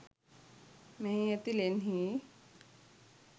මෙහි ඇති ලෙන්හි